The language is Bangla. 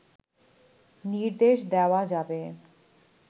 নির্দেশ দেওয়া যাবে